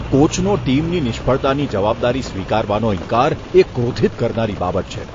કોચનો ટીમની નિષ્ફળતાની જવાબદારી સ્વીકારવાનો ઈન્કાર એ ક્રોધિત કરનારી બાબત છે.